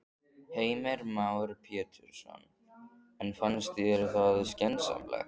Heimir Már Pétursson: En finnst þér það skynsamlegt?